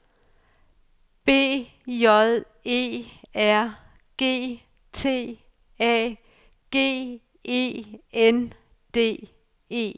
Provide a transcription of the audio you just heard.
B J E R G T A G E N D E